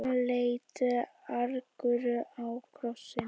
Hann leit argur á krossinn.